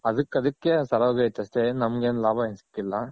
ಅದಕ್ಕ್ ಅದಕ್ಕೆ ಸರೋಗೈತ್ ಅಷ್ಟೆ ಏನ್ ನಮಗೇನ್ ಲಾಭ ಏನ್ ಸಿಕ್ಕಿಲ್ಲ.